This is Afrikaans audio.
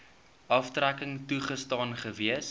aftrekking toegestaan gewees